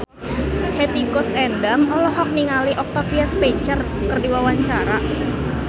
Hetty Koes Endang olohok ningali Octavia Spencer keur diwawancara